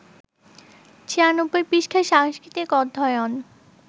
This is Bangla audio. ৯৬ পৃষ্ঠা সাংস্কৃতিক-অধ্যয়ন